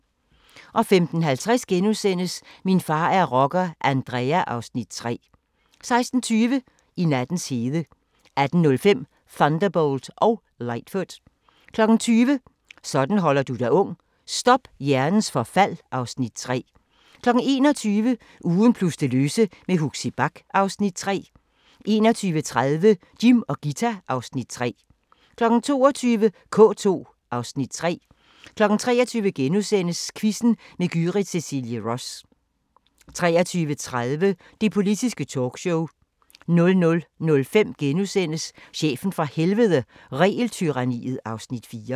15:50: Min far er rocker – Andrea (Afs. 3)* 16:20: I nattens hede 18:05: Thunderbolt og Lightfoot 20:00: Sådan holder du dig ung: Stop hjernens forfald (Afs. 3) 21:00: Ugen plus det løse med Huxi Bach (Afs. 3) 21:30: Jim og Ghita (Afs. 3) 22:00: K2 (Afs. 3) 23:00: Quizzen med Gyrith Cecilie Ross * 23:30: Det Politiske Talkshow 00:05: Chefen fra Helvede – Regeltyranniet (Afs. 4)*